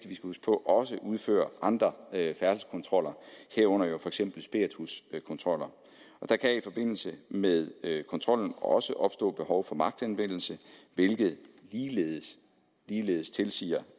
også udfører andre færdselskontroller herunder for eksempel spirituskontroller der kan i forbindelse med kontrollen også opstå behov for magtanvendelse hvilket ligeledes ligeledes tilsiger